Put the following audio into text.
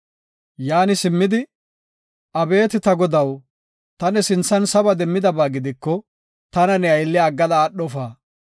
Yaani simmidi, “Abeeti ta godaw, ta ne sinthan saba demmidaba gidiko tana ne aylliya aggada aadhofa.